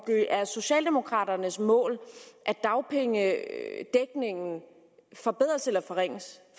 det er socialdemokraternes mål at dagpengedækningen forbedres eller forringes